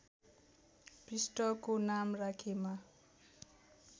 पृष्ठको नाम राखेमा